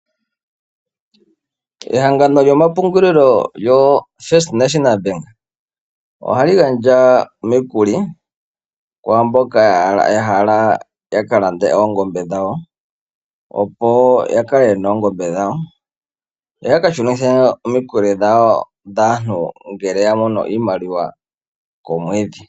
Ehangano lyomapungulilo lyoFirst National Bank ohali gandja omikuli kwaa mboka ya hala ya ka lande oongombe dhawo, opo ya kale ye na oongombe dhawo, yo ya ka shunithe omikuli dhantu ngele ya mono iimaliwa komwedhi.